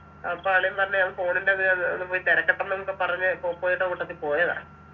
അപ്പൊ അളിയൻ പറഞ്ഞ് ഞാൻ phone ൻ്റെത് അഹ് ഒന്ന് പോയി തെരക്കട്ടെന്നൊക്കെ പറഞ്ഞ് പോപ്പോയിടെ കൂട്ടത്തി പോയതാ